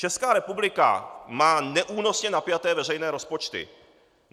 Česká republika má neúnosně napjaté veřejné rozpočty.